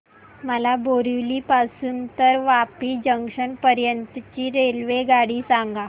मला बोरिवली पासून तर वापी जंक्शन पर्यंत ची रेल्वेगाडी सांगा